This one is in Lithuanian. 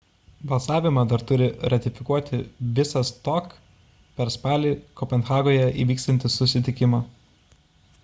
balsavimą dar turi ratifikuoti visas tok per spalį kopenhagoje įvyksiantį susitikimą